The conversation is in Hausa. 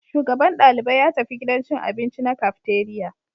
Shugaban dalibai ya tafi gidan cin abinci na cafeteria